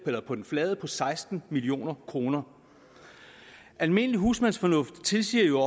på den flade på seksten million kroner almindelig husmandsfornuft tilsiger jo